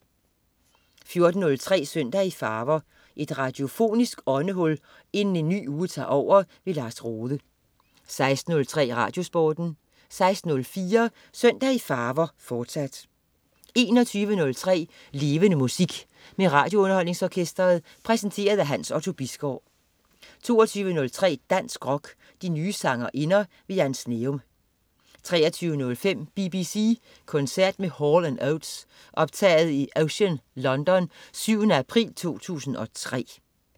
14.03 Søndag i farver. Et radiofonisk åndehul inden en ny uge tager over. Lars Rohde 16.03 RadioSporten 16.04 Søndag i farver, fortsat 21.03 Levende Musik. Med RadioUnderholdningsOrkestret. Præsenteret af Hans Otto Bisgaard 22.03 Dansk rock. De nye sangerinder. Jan Sneum 23.05 BBC koncert med Hall & Oates. Optaget i Ocean, London den 7. april 2003